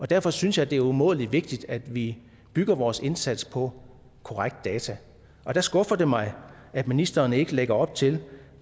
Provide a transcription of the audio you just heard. derfor synes jeg det er umådelig vigtigt at vi bygger vores indsats på korrekte data der skuffer det mig at ministeren ikke lægger op til